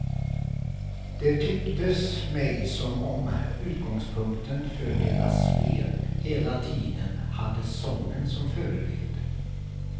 Det tycktes mig som om utgångspunkten för deras spel hela tiden hade sången som förebild.